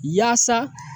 Yaasa